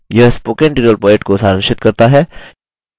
यह spoken tutorial project को सारांशित करता है